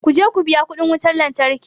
Ku je ku biya kuɗin wutar lantarki.